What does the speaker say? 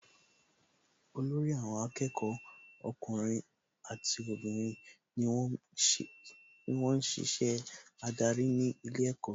Olórí àwọn akẹ́kọ̀ọ́ ọkùnrin àti obìnrin ni wón ń ṣiṣẹ́ adarí ní ilé ẹ̀kọ́